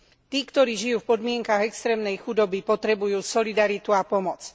Tí, ktorí žijú v podmienkach extrémnej chudoby, potrebujú solidaritu a pomoc.